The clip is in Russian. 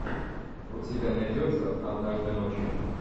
у тебя найдется однажды ночью